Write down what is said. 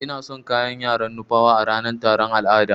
Ina son kayan yaran nupawa a ranan taron al'ada.